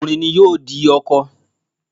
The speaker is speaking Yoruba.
Ọkùnrin ni ọkọ.